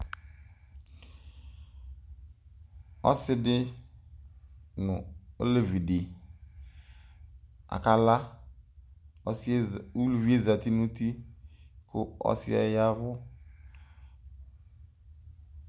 Ɔsidi nʋ olevidi akala ʋlʋvie zati nʋ ʋti kʋ ɔsi yɛ ya ɛvʋ